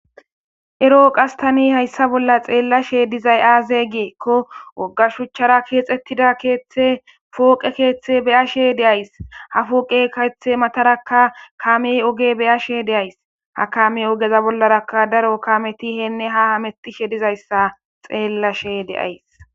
ero qass tani hayssa bolla xeellashshe dizay aze giikko wogga shuchchara keexxettidda keeththe foqqe keeththe be'ashshe de'ays ha fooqe keeththe matarakka kamey oge be'ashshe de'ays ha kamme ogeza bollarakka daro kametti henne ha hametishshe dizayssa xeellashe de'ays